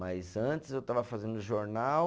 Mas antes eu estava fazendo jornal.